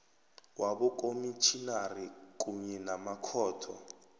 wabokomitjhinari kunye namakhotho